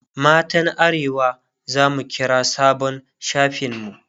matan arewa zamu kira sabon shafin mu